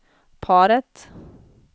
paret